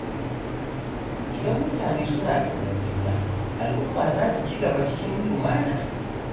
Idan mutane suna ƙaunar juna, al’umma za ta ci gaba cikin lumana.